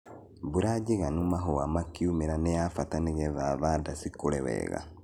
Mbura njigano mahũa makiumĩra nĩ ya bata nĩgetha thanda cikũre wega.